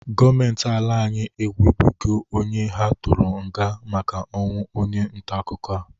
Gọọmenti ala anyị enwebeghi onye ha tụrụ nga maka ọnwụ onye ntaakụkọ a.